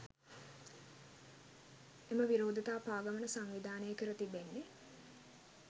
එම විරෝධතා පාගමන සංවිධානය කර තිබෙන්නේ